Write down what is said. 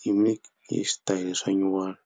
hi mi hi switayele swa nyuwana.